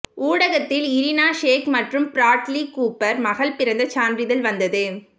ஊடகத்தில் Irina Shayk மற்றும் Bradley Cooper மகள் பிறந்த சான்றிதழ் வந்தது